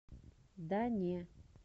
да не